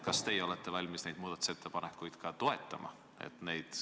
Kas te olete valmis neid muudatusettepanekuid toetama?